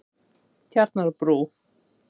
Tjarnarbrú